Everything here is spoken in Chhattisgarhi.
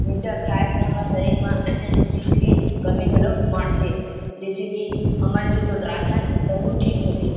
मिर्चा खाये से हमर शरीर में अन्य-अन्य चीज के कमी घलो माड़थे जैसे की हमन जो तोतराथन तहु ठीक होथे ।